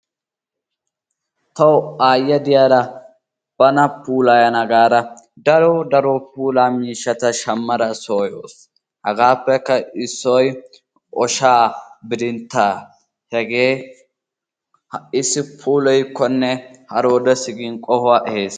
Tawu aayyiya diyaara bana puulayyana gaada daro daro puula miishshata shammada soo ehawus. hegaappekka issoy oshaa, bidinttaa hage ha'issi puulayikkone haroodessi gin qohuwa ehees.